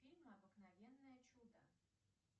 фильм обыкновенное чудо